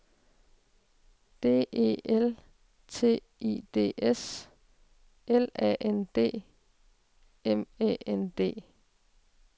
D E L T I D S L A N D M Æ N D